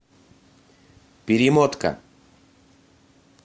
перемотка